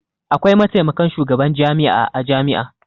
Akwai mataimakan shugaban jami'a a jami'a.